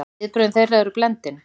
Viðbrögð þeirra eru blendin.